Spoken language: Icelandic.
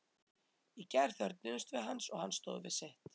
Í gær þörfnuðumst við hans og hann stóð við sitt.